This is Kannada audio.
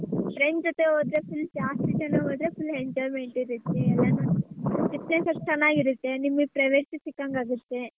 Friends ಜೊತೆ ಹೋದ್ರೆ full ಜಾಸ್ತಿ ಜನ ಹೋದ್ರೆ full enjoyment ಇರುತ್ತೆ ಎಲ್ಲಾನು experience ಎಷ್ಟ್ ಚನ್ನಾಗಿ ಇರುತ್ತೆ ನಿಮ್ಗೆ privacy ಸಿಕ್ಕಂಗಾಗುತ್ತೆ.